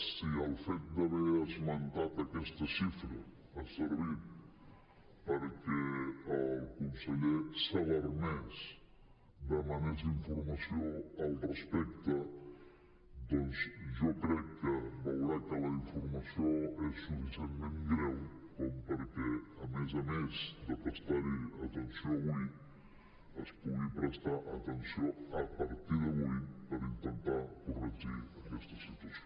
si el fet d’haver esmentat aquesta xifra ha servit perquè el conseller s’alarmés demanés informació al respecte doncs jo crec que veurà que la informació és suficientment greu com perquè a més a més de prestar hi atenció avui s’hi pugui prestar atenció a partir d’avui per intentar corregir aquesta situació